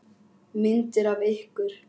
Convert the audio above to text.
Myndir af ykkur.